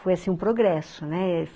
Foi assim, um progresso, né?